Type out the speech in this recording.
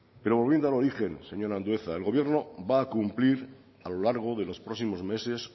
pero volviendo al origen señor andueza el gobierno va a cumplir a lo largo de los próximos meses